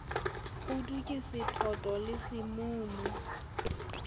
kgudu ke sethoto le semumu